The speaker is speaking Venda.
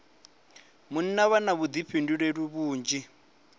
munna vha na vhuḓifhinduleli vhunzhi